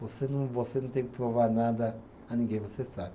Você não, você não tem que provar nada a ninguém, você sabe.